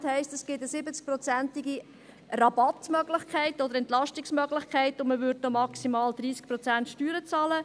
70 Prozent heisst, es gib eine 70-prozentige Rabattmöglichkeit oder Entlastungsmöglichkeit, und man würde maximal 30 Prozent Steuern bezahlen.